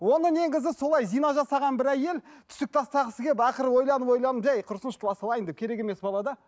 оны негізі солай зина жасаған бір әйел түсік тастағысы келіп ақыры ойланып ойланып әй құрысыншы туа салайын деп керек емес бала да